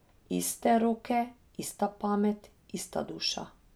Iste roke, ista pamet, ista duša.